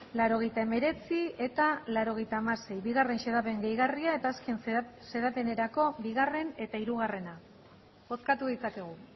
laurogeita hemeretzi eta laurogeita hamasei bigarren xedapen gehigarria eta azken xedapenerako bigarren eta hirugarrena bozkatu ditzakegu